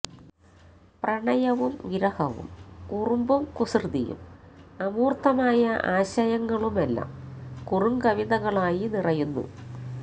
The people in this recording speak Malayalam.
പ്രണയവും വിരഹവും കുറുമ്പും കുസൃതിയും അമൂർത്തമായ ആശയങ്ങളുമെല്ലാം കുറുങ്കവിതകളായി നിറയുന്നു